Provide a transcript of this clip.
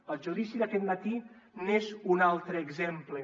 el judici d’aquest matí n’és un altre exemple